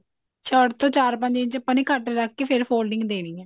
shirt ਤੋਂ ਚਾਰ ਪੰਜ ਆਪਾਂ ਨੇ ਘੱਟ ਰੱਖ ਕੇ ਫ਼ੇਰ folding ਦੇਣੀ ਹੈ